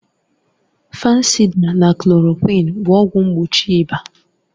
Fansida na klòròkwịn bụ ọgwụ mgbochi ịba